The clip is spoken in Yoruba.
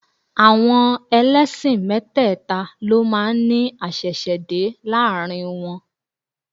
Àwọn ẹlẹ́sìn mẹ́tẹ́ẹ̀ta ló máa ní àṣẹ̀ṣẹ̀dé láàrin wọn